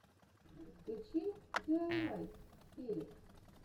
включи диайвай перек